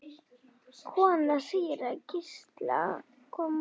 Kona síra Gísla kom út.